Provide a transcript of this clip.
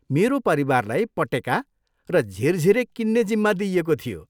मेरो परिवारलाई पटेका र झिरझिरे किन्ने जिम्मा दिइएको थियो।